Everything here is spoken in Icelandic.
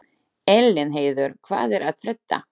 Elínheiður, hvað er að frétta?